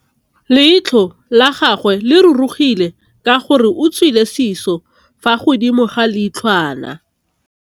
Leitlhô la gagwe le rurugile ka gore o tswile sisô fa godimo ga leitlhwana.